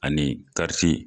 Ani kariti